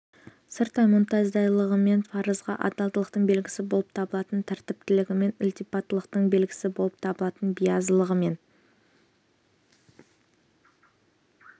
сырттай мұнтаздайлығымен парызға адалдықтың белгісі болып табылатын тәртіптілігімен ілтипаттылықтың белгісі болып табылатын биязылығымен